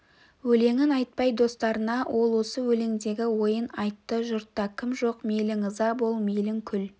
өлеңін айтпай достарына ол осы өлеңдегі ойын айтты жұртта кім жоқ мейлің ыза бол мейлің күл